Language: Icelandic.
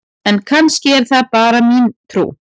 En kannski er það bara mín trú!?